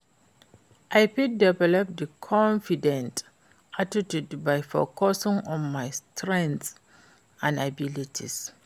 I fit develop di confident attitude by focusing on my strengths and abilities.